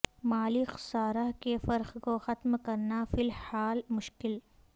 مالی خسارہ کے فرق کو ختم کرنا فی الحال مشکل